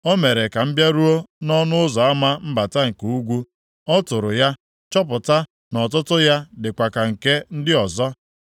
O mere ka m bịaruo nʼọnụ ụzọ ama mbata nke ugwu. Ọ tụrụ ya, chọpụta na ọtụtụ ya dịkwa ka nke ndị ọzọ,